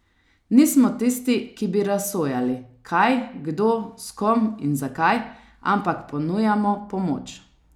Nismo tisti, ki bi razsojali, kaj, kdo, s kom in zakaj, ampak ponujamo pomoč.